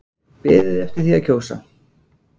Beðið eftir því að kjósa